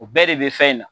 O bɛɛ de bɛ fɛn in na